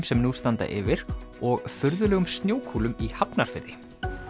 sem nú standa yfir og furðulegum snjókúlum í Hafnarfirði